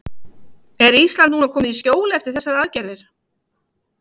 Er Ísland núna komið í skjól eftir þessar aðgerðir?